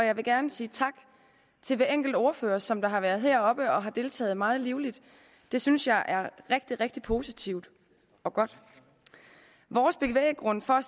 og jeg vil gerne sige tak til hver enkelt ordfører som har været heroppe og deltaget meget livligt det synes jeg er rigtig rigtig positivt og godt vores bevæggrund for at